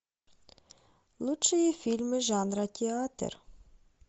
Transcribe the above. лучшие фильмы жанра театр